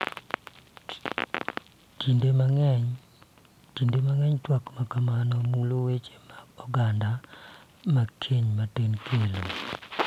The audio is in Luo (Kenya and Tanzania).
Kinde mang�eny, twak ma kamago mulo weche mag oganda ma keny matin kelo,